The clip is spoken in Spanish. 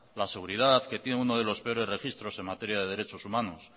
la seguridad que tiene uno de los peores registros en materia de derechos humanos